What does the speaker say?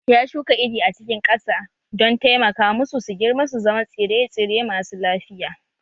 Ya shuka iri a cikin ƙasa don taimaka musu su girma su zama tsire-tsire masu lafiya